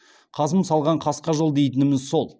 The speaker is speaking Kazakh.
қасым салған қасқа жол дейтініміз сол